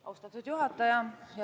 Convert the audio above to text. Austatud juhataja!